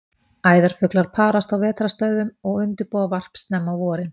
Æðarfuglar parast á vetrarstöðvum og undirbúa varp snemma á vorin.